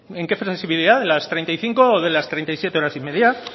en qué flexibilidad de las treinta y cinco o de las treinta y siete horas y media